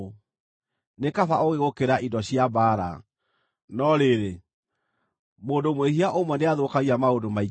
Nĩ kaba ũũgĩ gũkĩra indo cia mbaara, no rĩrĩ, mũndũ mwĩhia ũmwe nĩathũkagia maũndũ maingĩ mega.